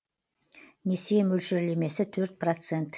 несие мөлшерлемесі төрт процент